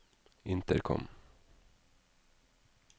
intercom